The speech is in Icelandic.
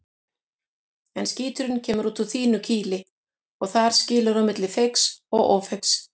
En skíturinn kemur út úr þínu kýli og þar skilur á milli feigs og ófeigs.